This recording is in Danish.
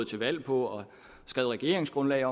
til valg på og skrev i regeringsgrundlaget